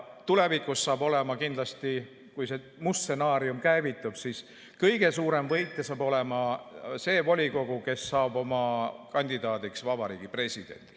Tulevikus, kui see must stsenaarium käivitub, on kõige suurem võitja see volikogu, kes saab oma kandidaadiks Vabariigi Presidendi.